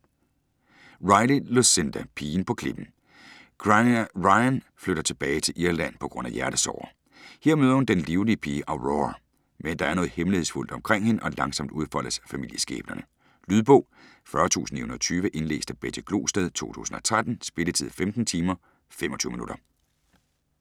Riley, Lucinda: Pigen på klippen Grania Ryan flytter tilbage til Irland på grund af hjertesorger. Her møder hun den livlige pige Aurora. Men der er noget hemmelighedsfuldt omkring hende, og langsomt udfoldes familieskæbnerne. Lydbog 40920 Indlæst af Betty Glosted, 2013. Spilletid: 15 timer, 25 minutter.